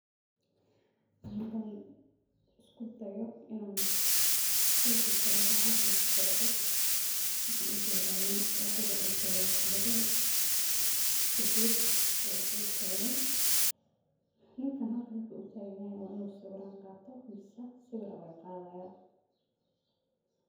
Markan iskudayo inan qexi karo waxa halkan kasocdo. Waxan ujeda oo wada dankeda tagan mise geska wadada tagan, ninkan wuxu wadada utagan yahay wa inu sawiran qato mise sawir aya lagaqadaya.